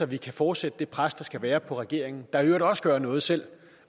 vi kan fortsætte det pres der skal være på regeringen der i øvrigt også gør noget selv